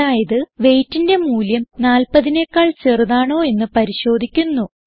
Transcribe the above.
അതായത് weightന്റെ മൂല്യം 40നെക്കാൾ ചെറുതാണോ എന്ന് പരിശോധിക്കുന്നു